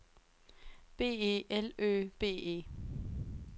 B E L Ø B E